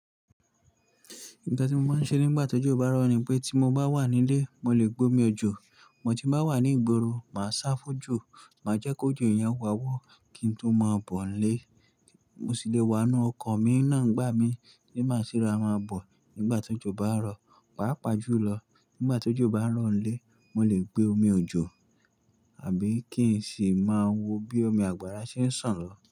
Nǹkan tí mo máa ń ṣe nígbà tí òjò bá rọ̀ ni pé tí mo bá wà nílé, mo lè gbe omi òjò. Mo tí bá wà ní ìgboro, màá sá fójò, màá jẹ́ kí òjò yen wá wọ́ kí n tó má bọ̀ nlé. Mo sì lè wa n nú ọkọ̀ mi náà n gbà mí bí má se ra mọn bọ̀ nígbà tó jó bá ń rọ̀. Pàá pà jùlọ nígbà tó jó bá ń rọ̀ nlé, mo lè gba omi òjò àbí kí n sì máa wo bí omi àgbàrá ṣe ń sàn lọ.